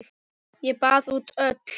Ég baða út öll